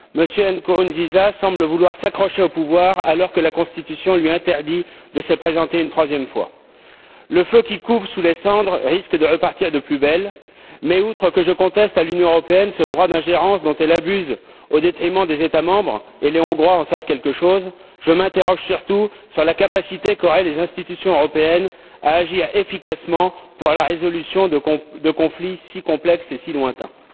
M. Nkurunziza semble vouloir s'accrocher au pouvoir, alors que la Constitution lui interdit de se présenter une troisième fois. Le feu qui couve sous les cendres risque de repartir de plus belle, mais outre le fait que je conteste à l'Union européenne ce droit d'ingérence dont elle abuse au détriment des États membres les Hongrois en savent quelque chose je m'interroge surtout sur la capacité qu'auraient les institutions européennes à agir efficacement pour la résolution de conflits si complexes et si lointains.